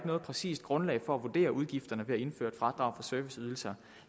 noget præcist grundlag for at vurdere udgifterne ved at indføre et fradrag for serviceydelser